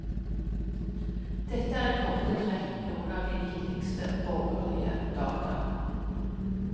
Dette er i korte trekk noen av de viktigste borgerlige data.